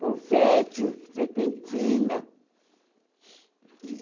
Confeti, serpentina. E